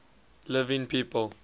living people